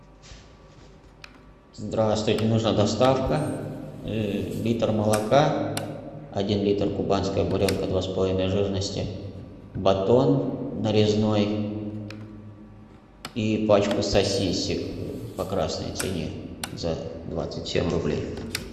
здравствуйте нужна доставка литр молока один литр кубанская буренка два с половиной жирности батон нарезной и пачку сосисок по красной цене за двадцать семь рублей